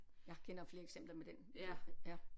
Jeg kender flere eksempler med den ja